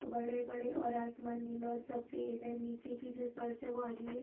बड़े-बड़े और आसमान नीला और सफ़ेद है नीचे की जो फर्स है वो हरी है।